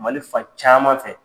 Mali fa caman fɛ